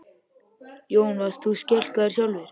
Jón: Varst þú skelkaður sjálfur?